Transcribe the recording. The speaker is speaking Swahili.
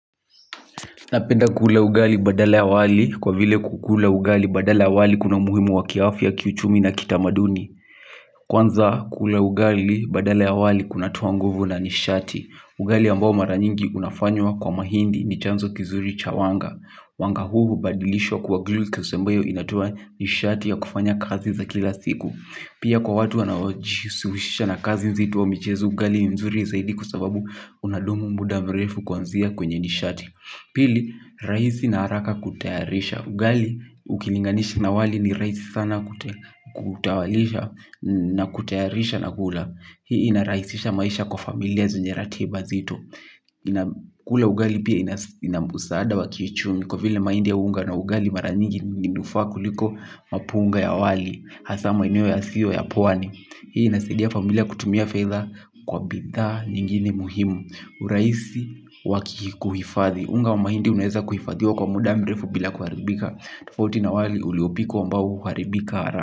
Napenda kule ugali badala ya wali kwa vile kukula ugali badala ya wali kuna umuhimu wa kiafya kiuchumi na kitamaduni. Kwanza kule ugali badala ya wali kuna toa nguvu na nishati. Ugali ambao mara nyingi unafanywa kwa mahindi ni chanzo kizuri cha wanga. Wanga huu hubadilishwa kuwa glucose ambayo inatoa nishati ya kufanya kazi za kila siku. Pia kwa watu wanaojihusisha na kazi nzito au mchezo ugali ni mzuri zaidi kwa sababu unadumu muda mrefu kwanzia kwenye nishati pili, rahisi na haraka kutayarisha. Ugali ukilinganisha na wali ni rahisi sana kutayarisha na kula. Hii inarahisisha maisha kwa familia zenye ratiiba nzito. Kula ugali pia ina msaada wa kiuchumi kwa vile mahindi ya unga na ugali mara nyingi inanufaa kuliko mapunga ya wali. Hasa maeneo yasiyo ya pwani. Hii inasaidia familia kutumia fedha kwa bidhaa nyingine muhimu. Urahisi wa kuhifadhi unga wa mahindi unaweza kuhifadhiwa kwa muda mrefu bila kuharibika. Tofauti na wali uliopikwa ambao huharibika.